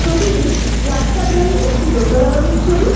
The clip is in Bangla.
ছবিটি রাস্তার ধারে একটি দোতলা বাড়ির ছবি।